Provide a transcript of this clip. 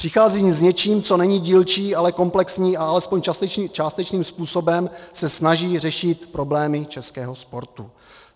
Přichází s něčím, co není dílčí, ale komplexní, a aspoň částečným způsobem se snaží řešit problémy českého sportu.